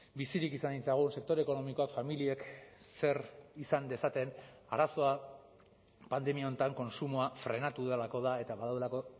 bizirik izan ditzagun sektore ekonomikoak familiek zer izan dezaten arazoa pandemia honetan kontsumoa frenatu delako da eta badaudelako